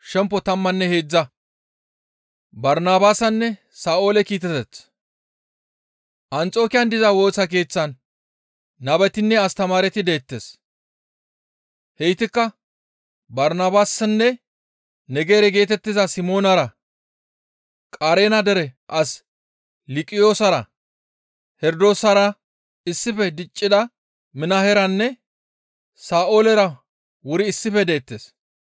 Anxokiyan diza Woosa Keeththan nabetinne astamaareti deettes; heytikka Barnabaasinne Negere geetettiza Simoonara, Qareena dere as Luqiyoosara, Herdoosara issife diccida Minaheranne Sa7oolera wuri issife deettes.